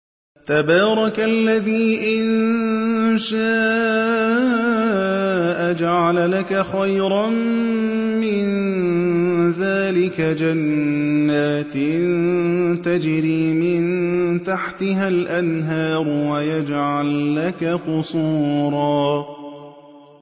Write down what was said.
تَبَارَكَ الَّذِي إِن شَاءَ جَعَلَ لَكَ خَيْرًا مِّن ذَٰلِكَ جَنَّاتٍ تَجْرِي مِن تَحْتِهَا الْأَنْهَارُ وَيَجْعَل لَّكَ قُصُورًا